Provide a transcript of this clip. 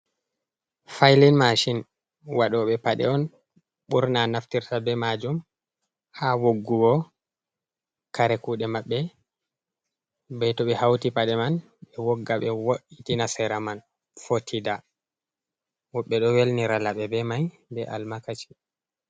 Failin mashin waɗoɓe paɗe on ɓurna naftirta be majum ha woggugo kare kuɗe maɓɓe bei to ɓe hauti paɗe man ɓe wogga, be wo'itina sera man fotida. Woɓɓe ɗo welnira laɓi be mai be almakaci.